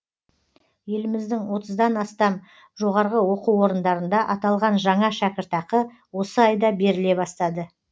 еліміздің отыздан астам жоғары оқу орындарында аталған жаңа шәкіртақы осы айда беріле бастады